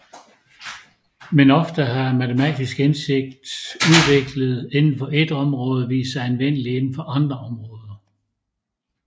Men ofte har matematisk indsigt udviklet inden for ét område vist sig anvendelig inden for andre områder